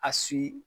A su